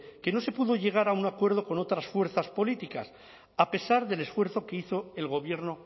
que no se pudo llegar a un acuerdo con otras fuerzas políticas a pesar del esfuerzo que hizo el gobierno